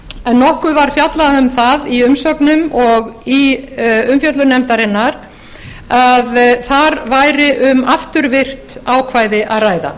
en nokkuð var fjallað um það í umsögnum og í umfjöllun nefndarinnar að þar væri um afturvirkt ákvæði að ræða